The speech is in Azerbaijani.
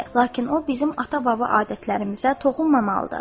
Lakin o bizim ata-baba adətlərimizə toxunmamalıdır.